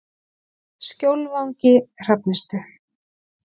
Skjólvangi Hrafnistu